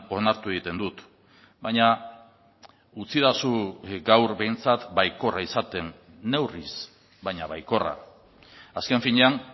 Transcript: onartu egiten dut baina utzidazu gaur behintzat baikorra izaten neurriz baina baikorra azken finean